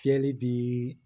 Fiyɛli bi